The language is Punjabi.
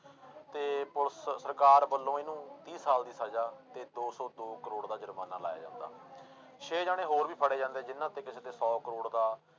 ਤੇ ਪੁਲਿਸ ਸਰਕਾਰ ਵੱਲੋਂ ਇਹਨੂੰ ਤੀਹ ਸਾਲ ਦੀ ਸਜਾ ਤੇ ਦੋ ਸੌ ਦੋ ਕਰੌੜ ਦਾ ਜ਼ੁਰਮਾਨਾ ਲਾਇਆ ਜਾਂਦਾ ਛੇ ਜਾਣੇ ਹੋਰ ਵੀ ਫੜੇ ਜਾਂਦੇ ਜਿੰਨੇ ਉੱਤੇ ਕਿਸੇ ਤੇ ਸੌ ਕਰੌੜ ਦਾ